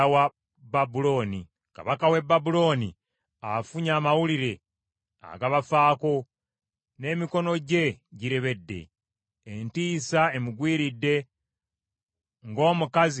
Kabaka w’e Babulooni afunye amawulire agabafaako, n’emikono gye girebedde. Entiisa emugwiridde, ng’omukazi alumwa okuzaala.